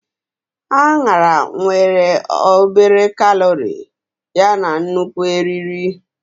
Añara nwere obere kalori yana nnukwu eriri.